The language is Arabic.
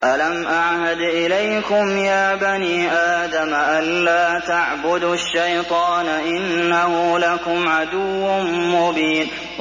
۞ أَلَمْ أَعْهَدْ إِلَيْكُمْ يَا بَنِي آدَمَ أَن لَّا تَعْبُدُوا الشَّيْطَانَ ۖ إِنَّهُ لَكُمْ عَدُوٌّ مُّبِينٌ